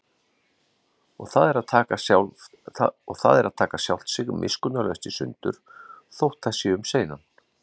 Og það er að taka sjálft sig miskunnarlaust í sundur, þótt það sé um seinan.